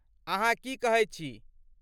अहाँ की कहैत छी?